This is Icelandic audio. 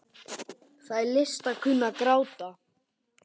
Það er list að kunna að gráta.